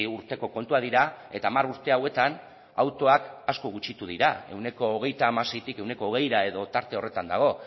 urteko kontuak dira eta hamar urte hauetan autoak asko gutxitu dira ehuneko hogeita hamaseitik ehuneko hogeira edo tarte horretan dago